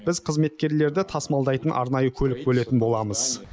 біз қызметкерлерді тасымалдайтын арнайы көлік бөлетін боламыз